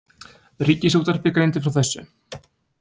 Ríkisútvarpið greindi frá þessu